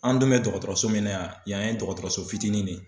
An dun bɛ dɔgɔtɔrɔso min na yan yan ye dɔgɔtɔrɔso fitini ne ye.